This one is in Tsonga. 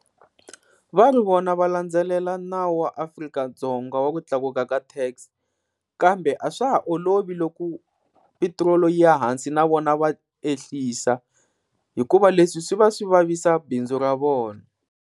Va ri vona va landzelela nawu wa Afrika-Dzonga wa ku tlakuka ka tax, kambe a swa ha olovi loko petirolo yi ya hansi na vona va ehlisa hikuva leswi swi va swi vavisa bindzu ra vona.